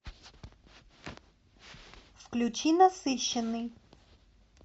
включи насыщенный